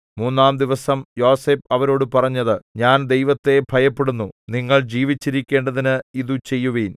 മൂന്നാംദിവസം യോസേഫ് അവരോടു പറഞ്ഞത് ഞാൻ ദൈവത്തെ ഭയപ്പെടുന്നു നിങ്ങൾ ജീവിച്ചിരിക്കേണ്ടതിന് ഇതു ചെയ്യുവിൻ